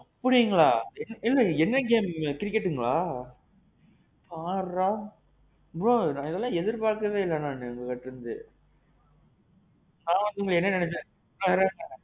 அப்படீங்களா? என்ன என்ன bro. cricket ங்களா? பார்றா. bro இதல்லாம் எதிர் பாக்கவே இல்ல நானு உங்கட்ட இருந்து. நான் வந்து உங்கள என்ன நெனச்சேன். அதுதான்.